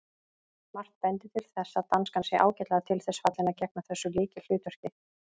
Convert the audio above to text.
Margt bendir til þess að danskan sé ágætlega til þess fallin að gegna þessu lykilhlutverki.